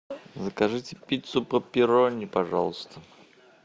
закажите пиццу пепперони пожалуйста